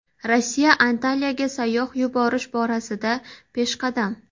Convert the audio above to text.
Rossiya Antaliyaga sayyoh yuborish borasida peshqadam.